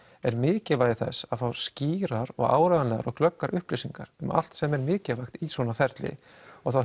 er mikilvægi þess að fá skýrar og áreiðanlegar og glöggar upplýsingar um allt sem er mikilvægt í svona ferli og þá